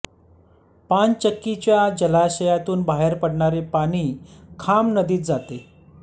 पानचक्कीच्या जलाशयातुन बाहेर पडणारे पाणी खाम नदीत जाते